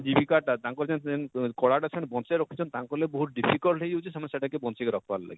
ଜୀବିକାର ଟା ତାଙ୍କର ସେନ ଯେନ କଲା ଟା ବଁଛେଇ କି ରଖୁଛନ ତାଙ୍କର ଲାଗି ବହୁତ difficult ହେଇ ଯାଉଛେ ସେମାନେ ସେଟା କେ ବଁଛେଇ କି ରଖବାର ଲାଗି,